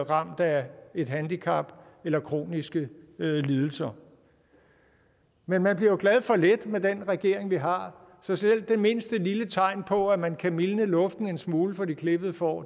ramt af et handicap eller kroniske lidelser men man bliver jo glad for lidt med den regering vi har så selv det mindste lille tegn på at man kan mildne luften en smule for de klippede får